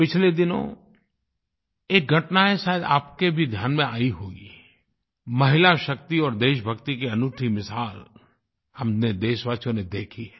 पिछले दिनों एक घटना है जो शायद आपके भी ध्यान में आयी होगी महिलाशक्ति और देशभक्ति की अनूठी मिसाल हम देशवासियों ने देखी है